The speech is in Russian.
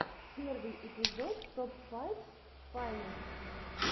первый эпизод топ файфс файнест